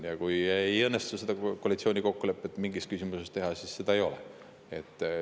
Ja kui ei õnnestu koalitsioonikokkulepet mingis küsimuses teha, siis seda ei ole.